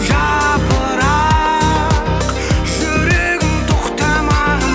жапырақ жүрегім тоқтамағын